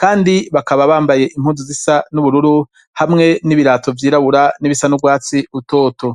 kandi bakaba bambaye impunzu zisa n'ubururu hamwe n'ibirato vy'irabura n'ibisa n'ubwatsi utoto